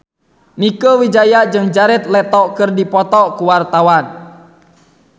Mieke Wijaya jeung Jared Leto keur dipoto ku wartawan